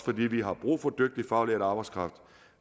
vi har brug for dygtig faglært arbejdskraft